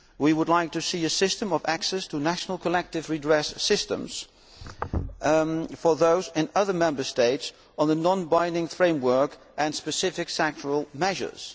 We would like to see a system of access to national collective redress systems for those in other Member States, based on a non binding framework and specific sectoral measures.